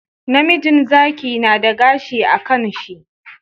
Namijin Zaki nada gashi a kan shi